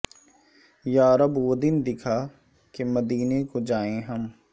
یا رب وہ دن دکھا کہ مدینے کو جائیں ہم